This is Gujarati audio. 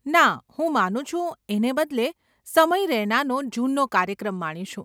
ના, હું માનું છું એને બદલે સમય રૈનાનો જૂનનો કાર્યક્રમ માણીશું.